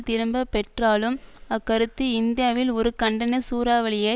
திரும்ப பெற்றாலும் அக் கருத்து இந்தியாவில் ஒரு கண்டன சூறாவளியை